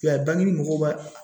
a mɔgɔw b'a